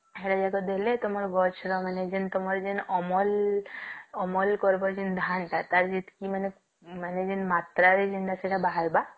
here ଜକ ଦେଲେ ତମର ଗଛ ତ ମାନେ ତମର ଯେମତି ଅମଲ ଅମଲ କରିବ ଯେମତି ଧାନ ଟା ଟାର ଯେତିକି ମାନେ ମାନେ ଯେମତି ମାତ୍ର ରେ ଯେମତି ସେଟା ବାହାରିବ